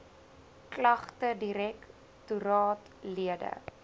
klagtedirek toraat lede